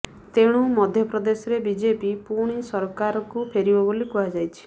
ତେଣୁ ମଧ୍ୟପ୍ରଦେଶରେ ବିଜେପି ପୁଣି ସରକାରକୁ ଫେରିବ ବୋଲି କୁହାଯାଉଛି